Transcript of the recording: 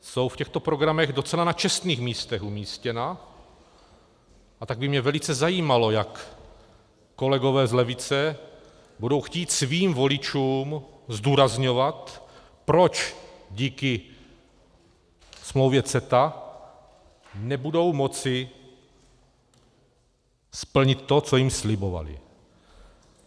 jsou v těchto programech docela na čestných místech umístěna, a tak by mne velice zajímalo, jak kolegové z levice budou chtít svým voličům zdůrazňovat, proč díky smlouvě CETA nebudou moci splnit to, co jim slibovali.